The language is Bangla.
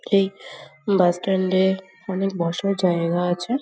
এই বাস স্ট্যান্ডে অনেক বছর জায়গা আছে।